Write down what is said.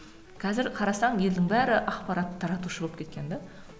қазір қарасаң елдің бәрі ақпарат таратушы болып кеткен де